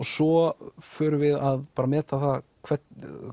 svo förum við að meta það hvernig